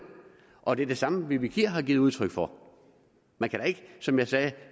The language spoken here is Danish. og det er det samme fru vivi kier har givet udtryk for man kan da ikke som jeg sagde